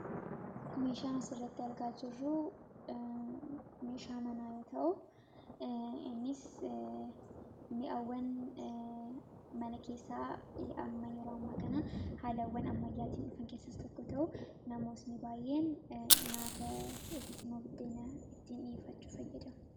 meeshaana sirratti argaa jirruu meeshaa manaayoo ta'u inis mi'awwan mana keessaa hi'amma yeroo amma kana haalawwan ammayyaatiin dhufan keessas tokko ta'u namootni baay'een naata dhokisima buddeena ittiin dhiefachu fayyada